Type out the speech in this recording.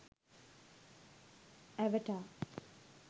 avatar